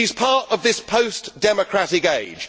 She is part of this post democratic age.